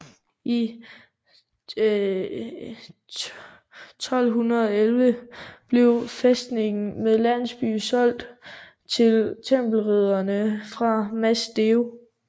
I 1211 blev fæstningen med landsby solgt til Tempelridderne fra Mas Deu